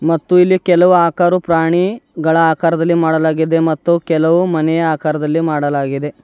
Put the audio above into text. ಮತ್ತು ಇಲ್ಲಿ ಕೆಲವು ಆಕಾರು ಪ್ರಾಣಿಗಳ ಆಕಾರದಲ್ಲಿ ಮಾಡಲಾಗಿದೆ ಮತ್ತು ಕೆಲವು ಮನೆಯ ಆಕಾರದಲ್ಲಿ ಮಾಡಲಾಗಿದೆ.